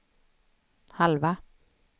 halva